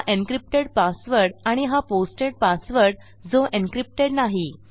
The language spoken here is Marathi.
हा एन्क्रिप्टेड पासवर्ड आणि हा पोस्टेड पासवर्ड जो एन्क्रिप्टेड नाही